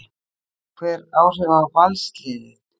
Hefur það einhver áhrif á Valsliðið?